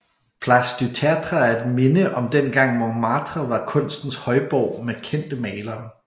Place du Tertre er et minde om dengang Montmartre var kunstens højborg med kendte malere